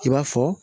I b'a fɔ